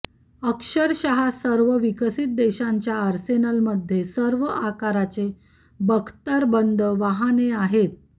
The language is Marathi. अक्षरशः सर्व विकसित देशांच्या आर्सेनलमध्ये सर्व आकाराचे बख्तरबंद वाहने आहेत